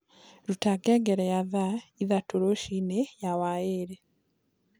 rũta ngengere ya thaa ĩthatũ rũcĩĩnĩ ya wairi